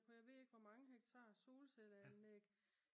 på jeg ved ikke hvor mange hektar solcelleanlæg